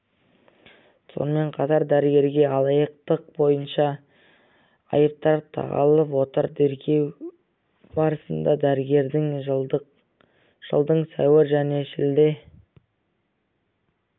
сонымен қатар дәрігерге алаяқтық бойынша айыптар тағылып отыр тергеу барысында дәрігердің жылдың сәуір және шілде